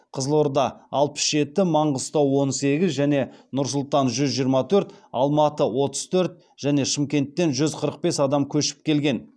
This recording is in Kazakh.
қызылорда алпыс жеті маңғыстау он сегіз және нұр сұлтан жүз жиырма төрт алматы отыз төрт және шымкенттен жүз қырық бес адам көшіп келген